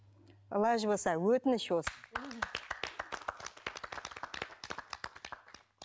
лажы болса өтініш осы